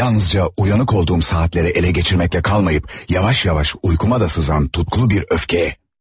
Yalnızca uyanık olduğum saatləri ele geçirməklə qalmayıp, yavaş-yavaş uykuma da sızan tutkulu bir öfkəyə.